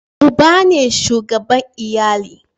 uba ne shugaban iyali